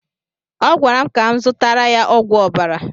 Ọ gwara m ka m zụtara ya ogwu ọbara